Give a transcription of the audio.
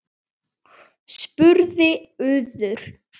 spurði Urður.